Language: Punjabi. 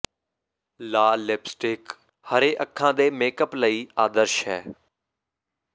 ਲਾਲ ਲਿਪਸਟਿਕ ਹਰੇ ਅੱਖਾਂ ਦੇ ਮੇਕਅਪ ਲਈ ਆਦਰਸ਼ ਹੈ